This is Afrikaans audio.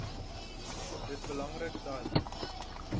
dit belangrik dat